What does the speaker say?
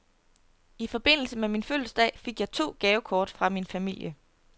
I forbindelse med min fødselsdag fik jeg to gavekort fra min familie.